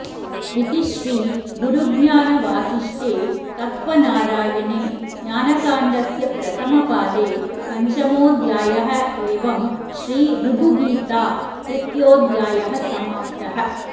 इति श्री गुरुज्ञानवासिष्ठे तत्त्वनारायणे ज्ञानकाण्डस्य प्रथमपादे पञ्चमोऽध्यायः एवं श्री ऋभुगीता तृतीयोऽध्यायः समाप्तः